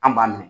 An b'a minɛ